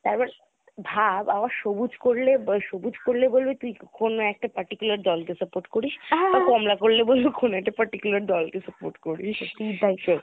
একবার ভাব আবার সবুজ করলে সবুজ করলে বলবে কোনো একটা particular দল কে support করিস আর কমলা করলে বলবে কোনো একটা particular দল কে support করিস